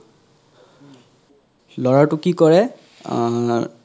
লৰাতো কি কৰে অহ